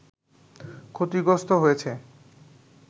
ক্ষতিগ্রস্ত হয়েছে